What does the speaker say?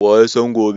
wa ya san gone?